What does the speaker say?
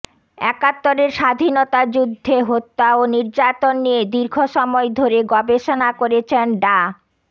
একাত্তরের স্বাধীনতা যুদ্ধে হত্যা ও নির্যাতন নিয়ে দীর্ঘ সময় ধরে গবেষণা করেছেন ডা